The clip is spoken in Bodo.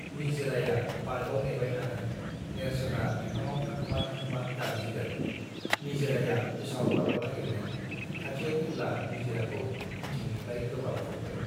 निजिराया पार्कआव नेबाय थागोन नेर्सोना बिफाङाव थाखोमा थाखोमा गाबज्रिगोन निजिराया उसाव बादाव नागिरगोन खाथियाव फैब्ला निजिराखौ उनथिंनिफ्राय गोबा खबगोन